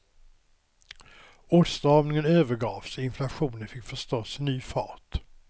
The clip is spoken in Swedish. Åtstramningen övergavs och inflationen fick förstås ny fart.